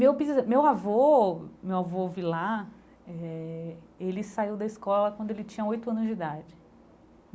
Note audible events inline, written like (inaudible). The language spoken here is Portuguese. Meu bisa meu avô, meu avô (unintelligible) eh, ele saiu da escola quando ele tinha oito anos de idade.